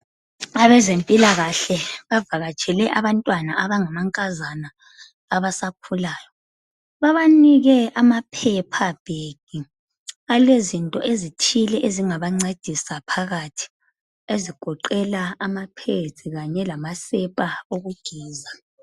Abazempilakahle bavakatshele abantwana abangamankazana abasakhulayo. Babanike ama paper bag alezinto ezithile ezingabancedisa phakathi ezigoqela amapads kanye lamasepa okugeza.